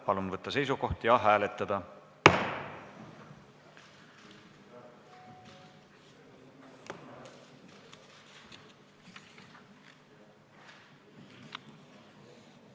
Palun võtta seisukoht ja hääletada!